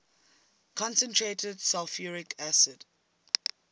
concentrated sulfuric acid